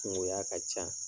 Nin ŋo a ka can